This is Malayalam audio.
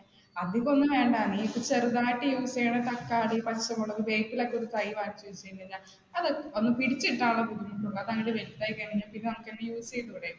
അധികമൊന്നും വേണ്ട, നീ ഇപ്പോ ചെറുതായിട്ട് use ചെയ്യുന്ന തക്കാളി, പച്ചമുളക്, വേപ്പില ഒക്കെ ഒരു തൈ വാങ്ങിച്ച് വെച്ച് കഴിഞ്ഞാ, അത് ഒന്ന് പിടിച്ചു കിട്ടാനുള്ള ബുദ്ധിമുട്ടുള്ളൂ അത് വലുതായി കഴിഞ്ഞാൽ നമുക്ക് അത് use ചെയ്തുടെ